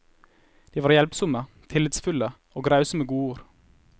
De var hjelpsomme, tillitsfulle og rause med godord.